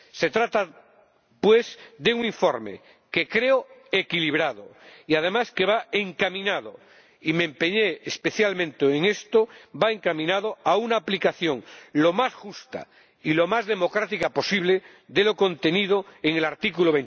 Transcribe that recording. Se trata, pues, de un informe que creo equilibrado y, además, que va encaminado —y me empeñé especialmente en esto— a una aplicación lo más justa y lo más democrática posible de lo contenido en el artículo